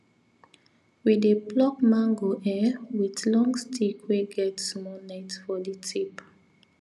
we dey pluck mango um with long stick wey get small net for the tip